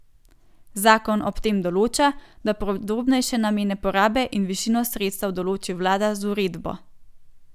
Zakon ob tem določa, da podrobnejše namene porabe in višino sredstev določi vlada z uredbo.